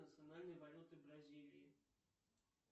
национальная валюта бразилии